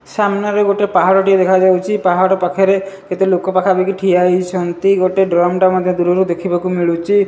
ସାମ୍ନାରେ ଗୋଟେ ପାହାଡ଼ ଟିଏ ଦେଖାଯାଉଚି। ପାହାଡ଼ ପାଖରେ କେତେ ଲୋକ ପାଖାପଖି ଠିଆ ହୋଇଛନ୍ତି। ଗୋଟେ ଡ୍ରମ ଟେ ମଧ୍ଯ ଦୂରରୁ ଦେଖିବାକୁ ମିଳୁଚି।